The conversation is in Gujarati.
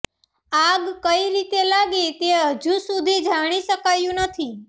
આગ કઈ રીતે લાગી તે હજુ સુધી જાણી શકાયું નથી